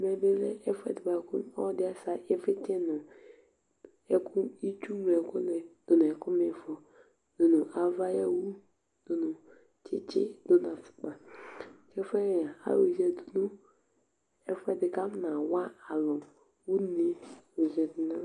ɛmɛ bi lɛ ɛfu ɛdi boa kò ɔlo ɛdi asɛ ivlitsɛ no ɛkò itsu ŋlo ɛkò ni do n'ɛkò m'ifɔ do no ava ayi owu do no tsitsi do no afukpa k'ɛfu yɛ ayɔ ya du no ɛfu ɛdi k'afɔna wa alo une ɔzɛvi n'ava